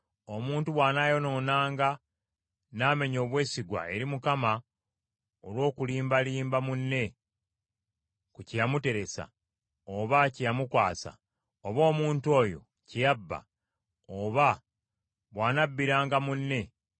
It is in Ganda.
“Omuntu bw’anaayonoonanga n’amenya obwesigwa eri Mukama olw’okulimbalimba munne ku kye yamuteresa, oba kye yamukwasa, oba omuntu oyo kye yabba; oba bw’anabbiranga munne,